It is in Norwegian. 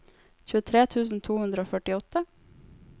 tjuetre tusen to hundre og førtiåtte